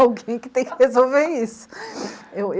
Alguém que tem que resolver isso.